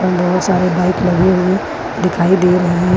यहां बहुत सारे बाइक लगे हुए दिखाई दे रहे हैं।